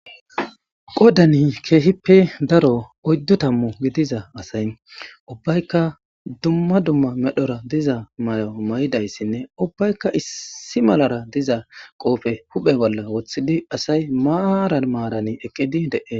qodani keehippe daro oyddu tammu gidiza asay ubbaykka duma duma medhora diza mayo mayidayssinne ubbaykka issi malara diza qoofe huphe bolla woththidi asay maaran maarani ekidi dee